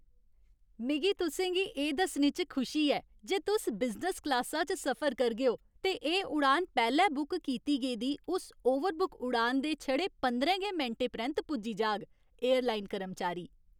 मिगी तुसें गी एह् दस्सने च खुशी ऐ जे तुस बिजनस क्लासा च सफर करगे ओ ते एह् उड़ान पैह्ले बुक कीती गेदी उस ओवरबुक उड़ान दे छड़े पंदरें गै मिंटें परैंत पुज्जी जाग । एयरलाइन कर्मचारी